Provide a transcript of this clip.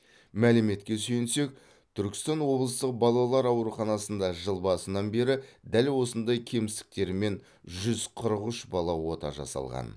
мәліметке сүйенсек түркістан облыстық балалар ауруханасында жыл басынан бері дәл осындай кемістіктермен жүз қырық үш бала ота жасалған